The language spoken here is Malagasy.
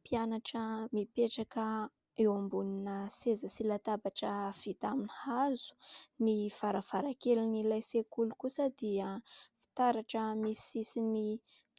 Mpianatra mipetraka eo ambonina seza sy latabatra vita amin'ny hazo. Ny varavarankelin'ilay sekoly kosa dia fitaratra misy sisiny